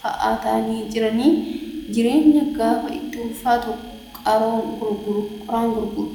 fa'aa ta'anii jiranii jireenyi gaafa itti ulfaatu qoraan gurguru.